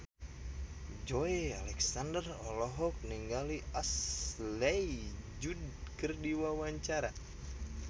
Joey Alexander olohok ningali Ashley Judd keur diwawancara